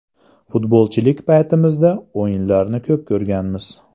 Futbolchilik paytimizda o‘yinlarini ko‘p ko‘rganmiz.